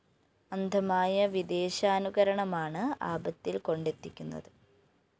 അന്ധമായ വിദേശാനുകരണമാണ് ആപത്തില്‍ കൊണ്ടെത്തിക്കുന്നത്